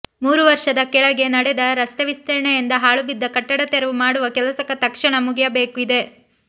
ಮೂರು ವರ್ಷದ ಕೆಳಗೆ ನಡೆದ ರಸ್ತೆವಿಸ್ತರಣೆಯಿಂದ ಹಾಳುಬಿದ್ದ ಕಟ್ಟಡ ತೆರವು ಮಾಡುವ ಕೆಲಸ ತಕ್ಷಣ ಮುಗಿಯಬೇಕಿದೆ